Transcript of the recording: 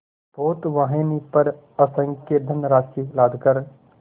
पोतवाहिनी पर असंख्य धनराशि लादकर